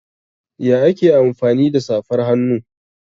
Ya ake amfani da safar hannu?